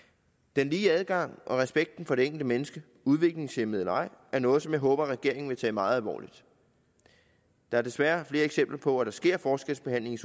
den lige adgang og respekten for det enkelte menneske udviklingshæmmet eller ej er noget som jeg håber regeringen vil tage meget alvorligt der er desværre flere eksempler på at der sker forskelsbehandling i